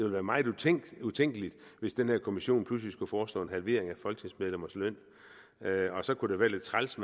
være meget utænkeligt utænkeligt hvis den her kommission pludselig skulle foreslå en halvering af folketingsmedlemmers løn og så kunne det være lidt træls